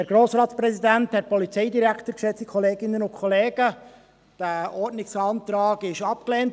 Der Ordnungsantrag wurde gestern abgelehnt.